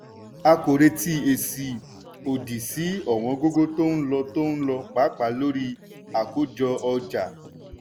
a kò retí èsì òdì sí ọ̀wọ́n-gógó tó ń lo tó ń lo pàápàá lórí àkójọ-ọjà.